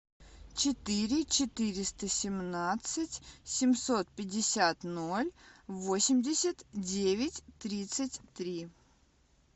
четыре четыреста семнадцать семьсот пятьдесят ноль восемьдесят девять тридцать три